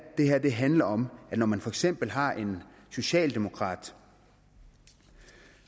handler om at man for eksempel har en socialdemokrat